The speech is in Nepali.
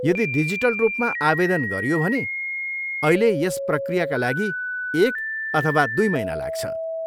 यदि डिजिटल रूपमा आवेदन गरियो भने अहिले यस प्रक्रियाका लागि एक अथवा दुई महिना लाग्छ।